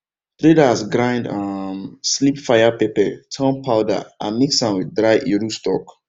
traders grind um sleep fire pepper turn powder and mix am with dry iru stock